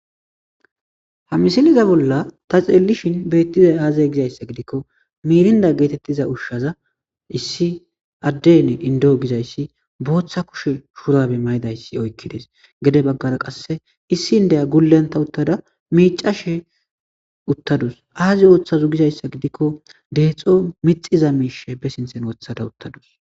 ha misiliza bolla ta xeellishin beettizay aazay gizayssa gidikko miirinda geetettiza ushshaza issi addeynne indoo gizayssi booththa kushe shuurabe maydayssi oykkides gede baggara qasse issi indeya gulenta uttada miicashe uttadus aazi ooththazu gizayssa gidikko deexo mixiza miishe be sinthen wothada uttadus